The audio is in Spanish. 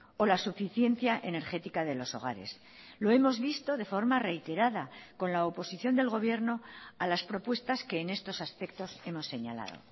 o la suficiencia energética de los hogares lo hemos visto de forma reiterada con la oposición del gobierno a las propuestas que en estos aspectos hemos señalado